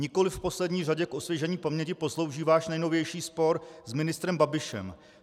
Nikoli v poslední řadě k osvěžení paměti poslouží váš nejnovější spor s ministrem Babišem.